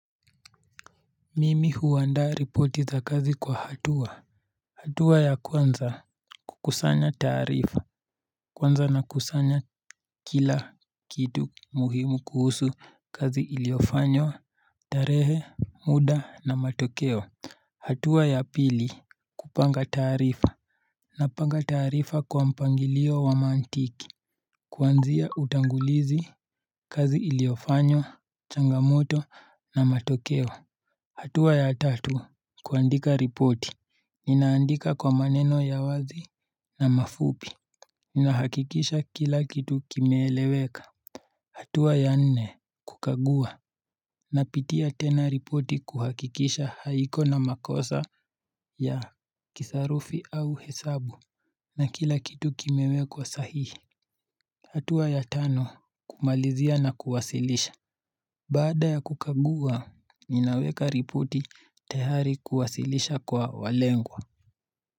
Mimi huandaa ripoti za kazi kwa hatua hatua ya kwanza kukusanya taarifa Kwanza nakusanya kila kitu muhimu kuhusu kazi iliyofanywa tarehe muda na matokeo hatua ya pili kupanga tarifa Napanga taarifa kwa mpangilio wa mantiki kuanzia utangulizi kazi iliyofanywa changamoto na matokeo hatua ya tatu kuandika ripoti. Ninaandika kwa maneno ya wazi na mafupi. Ninahakikisha kila kitu kimeeleweka. Hatua ya nne, kukagua. Napitia tena ripoti kuhakikisha haiko na makosa ya kisarufi au hesabu. Na kila kitu kimewekwa sahihi. Hatua ya tano, kumalizia na kuwasilisha. Baada ya kukagua, ninaweka ripoti tayari kuwasilisha kwa walengwa.